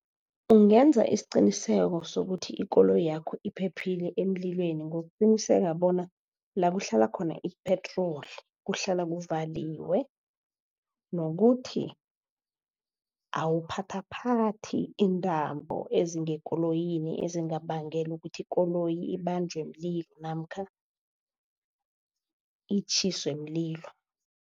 Ungenza isiqiniseko sokuthi ikoloyakho iphephile emlilweni ngokuqiniseka bona la kuhlala khona ipetroli kuhlala kuvaliwe. Nokuthi awuphathaphathi iintambo ezingekoloyini ezingabangela ukuthi ikoloyi ibanjwe mlilo namkha itjhiswe mlilo.